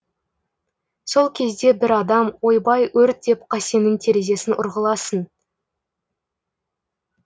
сол кезде бір адам ойбай өрт деп қасеннің терезесін ұрғыласын